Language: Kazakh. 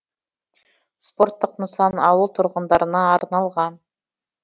спорттық нысан ауыл тұрғындарына арналған